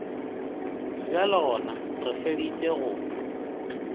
bjalo gona re feditše go